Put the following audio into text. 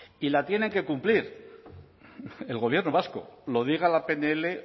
y la tiene que cumplir el gobierno vasco lo diga la pnl